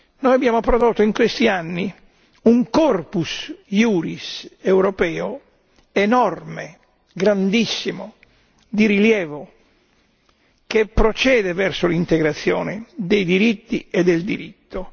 Noi abbiamo prodotto in questi anni un corpus iuris europeo enorme, grandissimo, di rilievo che procede verso l'integrazione dei diritti e del diritto.